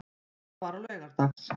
Þetta var á laugardags